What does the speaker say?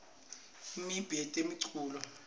imiumbi yetemculo